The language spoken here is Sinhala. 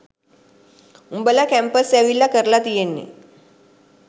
උඹල කැම්පස් ඇවිල්ල කරල තියෙන්නෙ